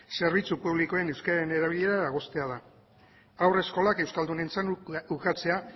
zerbitzu publikoen euskeraren erabilera dagozkiola haur eskolak euskaldunentzat ukatzea